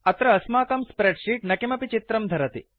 अत्र अस्माकं spreadsheet न किमपि चित्रं धरति